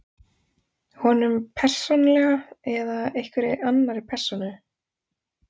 Honum, persónulega, eða einhverri annarri persónu?